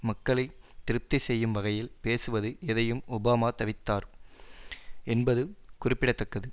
மக்களை திருப்தி செய்யும் வகையில் பேசுவது எதையும் ஒபாமா தவித்தார் என்பது குறிப்பிட தக்கது